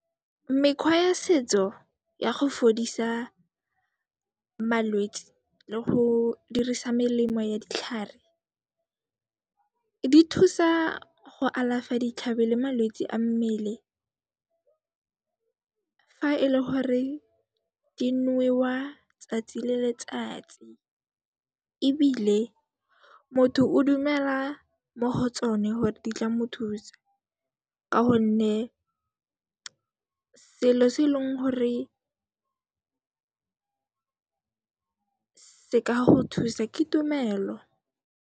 Mekgwa ya setso ya go fodisa malwetsi le go dirisa melemo ya ditlhare, di thusa go alafa ditlhabi le malwetsi a mmele fa e le gore di nwewa tsatsi le letsatsi ebile motho o dumela mo go tsone hore di tla mo thusa ka honne selo se eleng gore se ka go thusa, ke tumelo.